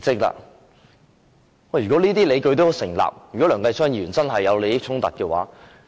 如果這些理據成立，梁繼昌議員真的有利益衝突。